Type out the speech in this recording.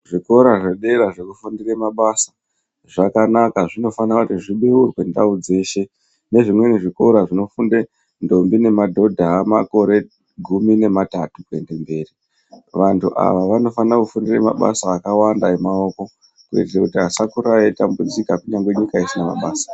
Zvikora zvedera zvekufundira mabasa zvakanaka zvinofanirwa zvibeurwe ndau dzeshe nezvimweni zvikora zvinofundira ndombi nemadhodha vane makore gumi nematatu kuenda mberi vantu ava vanofana kufundira mabasa akawanda emaoko kuti vasakura veitambudzika.